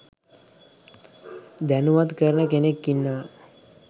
දැනුවත් කරන කෙනෙක් ඉන්නවා